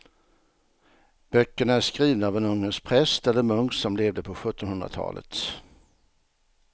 Böckerna är skrivna av en ungersk präst eller munk som levde på sjuttonhundratalet.